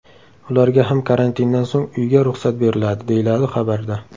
Ularga ham karantindan so‘ng uyga ruxsat beriladi, deyiladi xabarda.